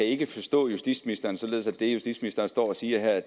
ikke forstå justitsministeren således at det justitsministeren står og siger her